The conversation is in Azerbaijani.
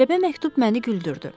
Qəribə məktub məni güldürdü.